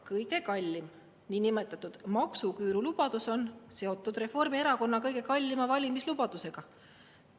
Kõige kallim, niinimetatud maksuküüru lubadus on seotud Reformierakonna kõige kallima valimislubadusega.